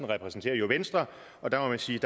repræsenterer jo venstre og der må man sige